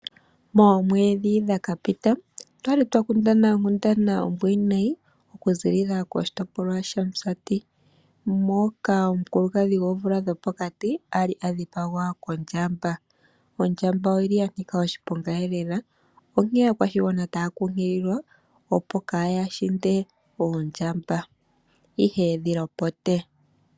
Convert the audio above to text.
Moomedhi dhakapita okwali twa kundana okundana ombwiinayi oku ziilila koshitopolwa shaMusati moka omukulukadhi goomvula dhopokati a li a dhipagwa kondjamba. Ondjamba oyili ya nika oshiponga lela onkee aakwashigwana taya nkunkililwa opo yaahinde oondjamba ihe ye dhi lopote.